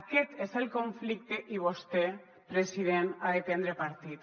aquest és el conflicte i vostè president n’ha de prendre partit